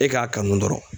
E k'a kanu dɔrɔn